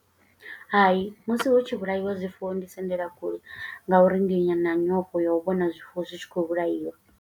Hai, musi hu tshi vhulaiwa zwifuwo ndi sendela kule, nga uri ndi na nyofho ya u vhona zwifuwo zwi tshi khou vhulaiwa.